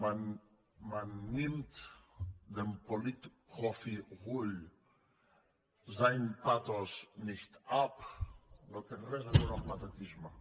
man nimmt dem politprofi rull sein pathos nicht ab no té res a veure amb patetisme